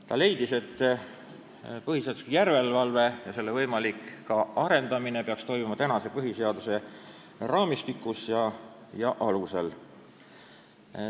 Ta leidis, et põhiseaduslikkuse järelevalve ja selle võimalik arendamine peaks toimuma põhiseaduse raamistikus ja alusel.